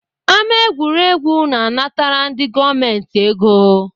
Ámá egwuregwu na-anatara ndị gọọmenti ego